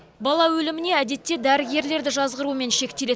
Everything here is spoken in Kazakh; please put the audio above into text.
бала өліміне әдетте дәрігерлерді жазғырумен шектеледі